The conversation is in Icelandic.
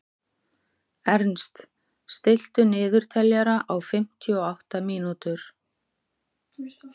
Ernst, stilltu niðurteljara á fimmtíu og átta mínútur.